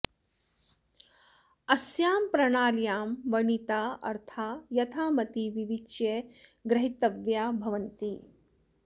अस्यां प्रणाल्यां वर्णिता अर्था यथामति विविच्य ग्रहीतव्या भवन्ति